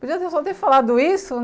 Podia ter só ter falado isso